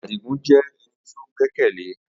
Adigun jẹ́ ẹni tí ó gbẹ́kẹ̀lé